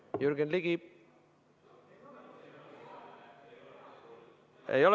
Oi, Jürgen Ligi!